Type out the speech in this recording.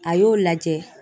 A y'o lajɛ